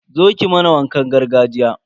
Zo ki mana wakan gargajiya.